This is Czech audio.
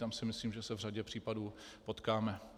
Tam si myslím, že se v řadě případů potkáme.